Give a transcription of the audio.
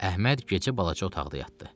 Əhməd gecə balaca otaqda yatdı.